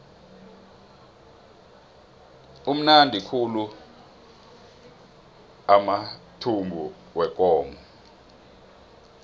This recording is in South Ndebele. amnandi khulu amathumbu wekomo